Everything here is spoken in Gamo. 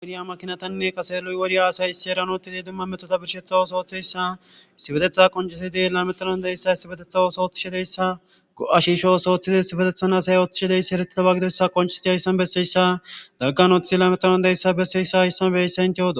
Lo'iya makinatanne kaseloy worya asay issi eranotidi dumma metoda birshetha ooso oththeyssa issibetetha qoncesidi lametron deyssa issibetetha oso oththishi deyssa go'ashisho os ooththidi issibetethan asay oththishideyssa heretida wagidoyssa qonchesiti ayssan besseyssa daggan oth ilameron deyssa besseyssa issan bese inteoodosi.